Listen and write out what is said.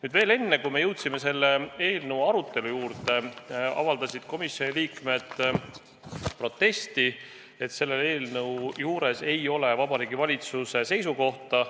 Aga veel enne, kui me jõudsime selle eelnõu arutelu juurde, avaldasid komisjoni liikmed protesti, et selle eelnõu puhul ei ole teada Vabariigi Valitsuse seisukohta.